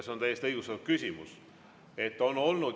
See on täiesti õigustatud küsimus.